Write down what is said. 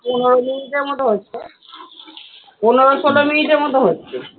পনেরো মিনিট এর মতো হয়েছে পনেরো-ষোলো মিনিট এর মতো হচ্ছে।